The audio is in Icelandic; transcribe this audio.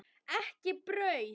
Ekki brauð.